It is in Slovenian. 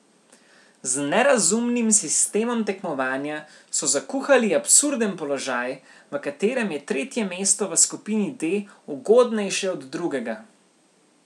Z nerazumnim sistemom tekmovanja so zakuhali absurden položaj, v katerem je tretje mesto v skupini D ugodnejše od drugega.